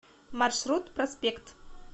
маршрут проспект